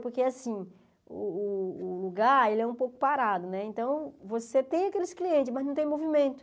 Porque assim o lugar é um pouco parado, então você tem aqueles clientes, mas não tem movimento.